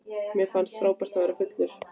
Mér fannst frábært að verða fullur.